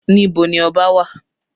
Níbo ni ọba wà?